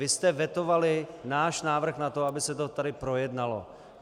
Vy jste vetovali náš návrh na to, aby se to tady projednalo.